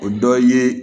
O dɔ ye